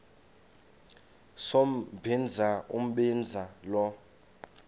sombinza umbinza lo